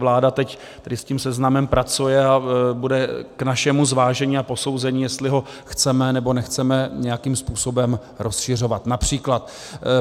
Vláda teď tady s tím seznamem pracuje a bude k našemu zvážení a posouzení, jestli ho chceme, nebo nechceme nějakým způsobem rozšiřovat například.